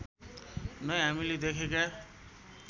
नै हामीले देखेका